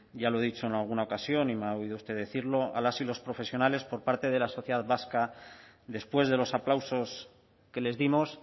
ya lo dicho en alguna ocasión y me ha oído usted decirlo a las y los profesionales por parte de la sociedad vasca después de los aplausos que les dimos